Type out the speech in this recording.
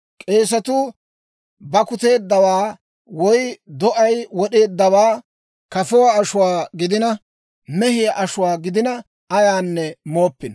K'eesetuu bakkuteedawaa woy do'ay wod'eeddawaa kafuwaa ashuwaa gidina, mehiyaa ashuwaa gidina, ayaanne mooppino.